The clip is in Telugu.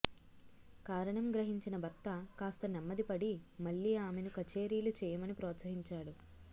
కారణం గ్రహించిన భర్త కాస్త నెమ్మదిపడి మళ్ళీ ఆమెను కచేరీలు చేయమని ప్రోత్సహించాడు